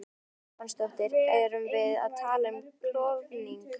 Dagmar Ýr Stefánsdóttir: Erum við að tala um klofning?